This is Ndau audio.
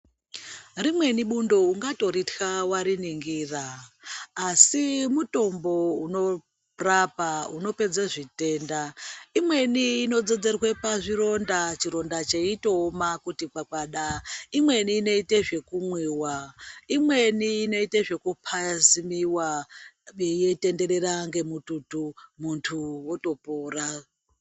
Rimweni bundo ungatoritya wariningira asi mutombo unorapa unopedze zvitenda. Imweni inodzodzerwa pazvironda, chironda cheitooma kuti gwagwada, imweni inoita zvekumwiwa imweni inoite zvepaziliwa peitenderera ngemututu munthu wotopora.